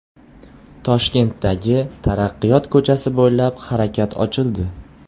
Toshkentdagi Taraqqiyot ko‘chasi bo‘ylab harakat ochildi.